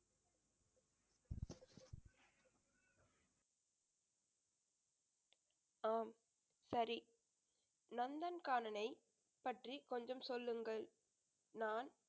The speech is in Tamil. ஆம் சரி நந்தன்கானனை பற்றி கொஞ்சம் சொல்லுங்கள் நான்